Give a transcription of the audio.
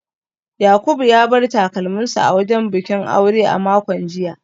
Yakubu ya bar takalminsa a wajen bikin aure a makon jiya